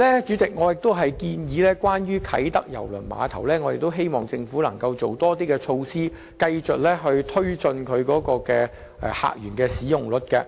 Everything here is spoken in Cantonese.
主席，關於啟德郵輪碼頭，我們希望政府能夠制訂更多措施，繼續提高碼頭的使用率。